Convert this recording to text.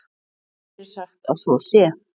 Mér er sagt að svo sé.